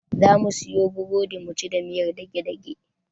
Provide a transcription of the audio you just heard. Zamu siyo burodi muci da miyar dage-dage.